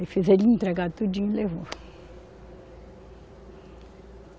Ele fez ele entregar tudinho e levou.